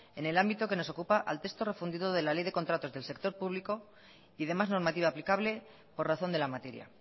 en el ámbito que nos ocupa al texto refundido de la ley de contratos del sector público y demás normativa aplicable por razón de la materia